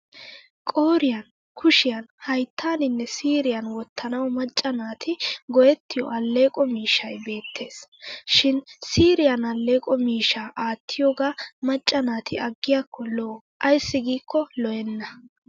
Qooriyan, kushiyan, hayttaaninne siiriyan wottanawu macca naati go'ettiyo alleeqo miishshay beettes. Shin siiriyan alleeqo mishshaa aattiyoogaa macca naati aggiyaakko lo'o ayssi giikko lo'enna.